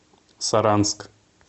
саранск